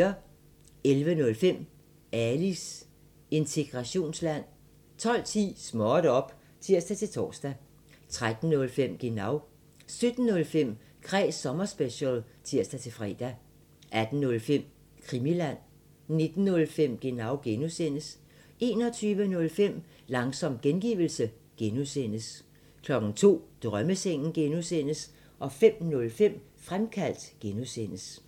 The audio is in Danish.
11:05: Alis integrationsland 12:10: Småt op! (tir-tor) 13:05: Genau 17:05: Kræs sommerspecial (tir-fre) 18:05: Krimiland 19:05: Genau (G) 21:05: Langsom gengivelse (G) 02:00: Drømmesengen (G) 05:05: Fremkaldt (G)